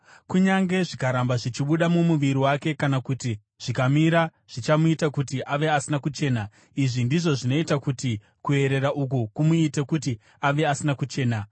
Kunyange zvikaramba zvichibuda mumuviri wake kana kuti zvikamira zvichamuita kuti ave asina kuchena. Izvi ndizvo zvinoita kuti kuerera uku kumuite kuti ave asina kuchena.